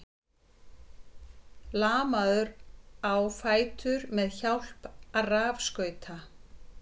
Lamaður á fætur með hjálp rafskauta